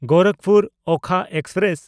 ᱜᱳᱨᱟᱠᱷᱯᱩᱨ–ᱳᱠᱷᱟ express